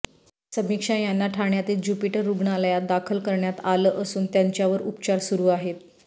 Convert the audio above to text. समीक्षा यांना ठाण्यातील ज्युपिटर रुग्णालयात दाखल करण्यात आलं असून त्यांच्यावर उपचार सुरु आहेत